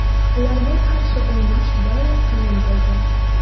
Ularga qarshi o‘ynash doim qiyin bo‘lgan.